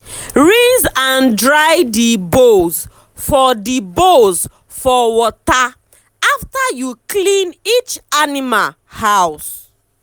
rinse and dry d bowls for d bowls for water afta u clean each animal house